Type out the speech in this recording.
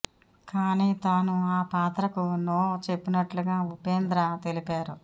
కానీ తాను ఆ పాత్రకు నో చెప్పినట్లుగా ఉపేంద్ర తెలిపారు